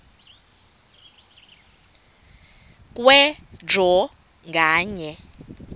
kwe draw nganye